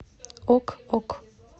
ок ок